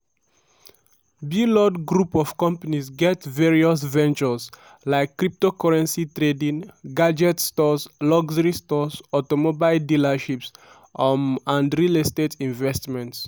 blord group of companies get various ventures like cryptocurrency trading gadget stores luxury stores automobile dealerships um and real estate investments.